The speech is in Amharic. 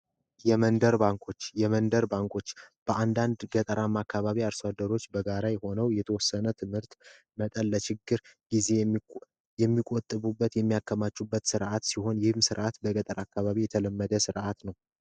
የመንደር ባንኮች:የመንደር ባንኮች በአንዳንድ ገጠራማ አካባቢ አርሶ አደሮችበጋራሁነዉ የተወሰነ ትምህርት መጠን ለችግር ጊዜ የሚሆን የሚቆጥቡበት የሚያከማቹበት ስርአት ሲሆን ይህም ስርከት በገጠር አካባቢ የተለመደ ስርአት ነዉ።